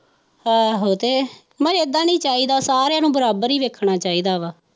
ਆਹੋ ਤੇ ਇਹਦਾ ਨਹੀਂ ਚਾਹੀਦਾ ਸਾਰੀਆਂ ਨੂੰ ਬਰਾਬਰ ਹੀ ਵੇਖਣਾ ਚਾਹੀਦਾ ਵਾ।